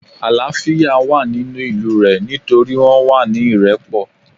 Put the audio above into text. Àlááfíà wà nínú ìlú rẹ̀ nítorí wọ́n wà ní ìrẹ́pọ̀